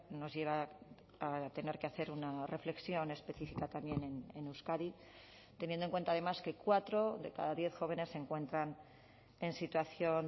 nos lleva a tener que hacer una reflexión específica también en euskadi teniendo en cuenta además que cuatro de cada diez jóvenes se encuentran en situación